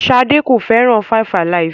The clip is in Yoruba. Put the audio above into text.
Ṣadé kò fẹ́ràn 5-alive.